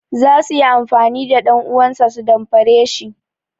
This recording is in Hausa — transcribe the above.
Za su yi amfani da ɗanuwansa su damfare shi.